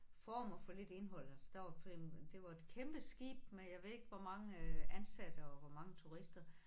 Form og for lidt indhold altså der var det var et kæmpe skib med jeg ved ikke hvor mange ansatte og hvor mange turister